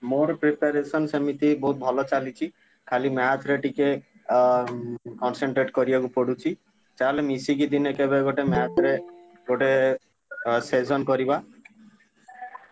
ମୋର preparation ସେମିତି ବହୁତ୍ ଭଲ ଚାଲିଚି, ଖାଲି math ରେ ଟିକେ ଅ concentrate କରିଆକୁ ପଡୁଛି, ଚାଲ ମିଶିକି ଦିନେ କେବେ ଗୋଟେ math ରେ ଗୋଟେ ଅ session କରିବା।